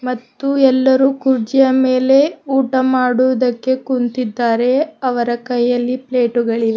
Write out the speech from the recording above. ಮತ್ತು ಎಲ್ಲರೂ ಕುರ್ಚಿಯ ಮೇಲೆ ಊಟ ಮಾಡುವುದಕ್ಕೆ ಕುಂತಿದ್ದಾರೆ ಅವರ ಕೈಯಲ್ಲಿ ಪ್ಲೇಟುಗಳಿವೆ.